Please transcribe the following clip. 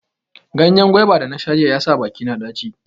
Ganyen gwaiba da nasha jiya ya sa bakina ɗaci.